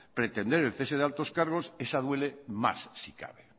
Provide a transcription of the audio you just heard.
pretender el cese de altos cargos esa duele más si cabe